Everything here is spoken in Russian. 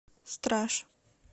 страж